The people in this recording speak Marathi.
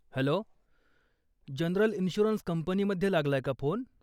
हॅलो, जनरल इन्श्युरन्स कंपनीमध्ये लागलाय का फोन?